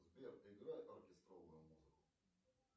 сбер играй оркестровую музыку